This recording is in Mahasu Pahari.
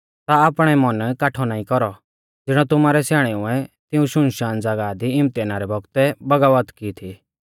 ता आपणै मन काठौ नाईं कौरौ ज़िणौ तुमारै स्याणेउऐ तिऐं सुनसान ज़ागाह दी इम्तहाना रै बौगतै बगावत की थी